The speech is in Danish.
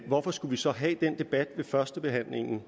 hvorfor skulle vi så have den debat ved førstebehandlingen